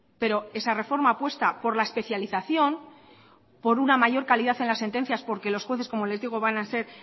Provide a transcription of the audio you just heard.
pero esa reforma apuesta por la especialización por una mayor calidad en las sentencias porque los jueces como les digo van a ser